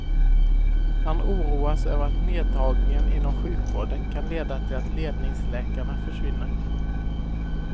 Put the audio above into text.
Han oroas över att nerdragningen inom sjukvården kan leda till att ledningsläkarna försvinner.